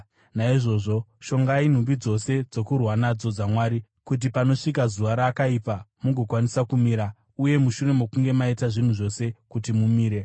Naizvozvo shongai nhumbi dzose dzokurwa nadzo dzaMwari, kuti panosvika zuva rakaipa, mugokwanisa kumira, uye mushure mokunge maita zvinhu zvose, kuti mumire.